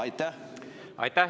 Aitäh!